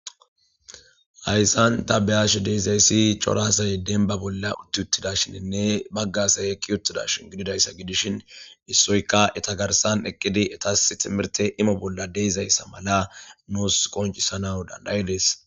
Hayssan ta beyash deezayssi corasaye den ba bolla utt uttida shininne baggasay ekki yuttidashi gididayssa gidishin issoyka eta garsan eqqidi etas timirte imo bolla deezayssa mala nuus qoncisana dandayidees.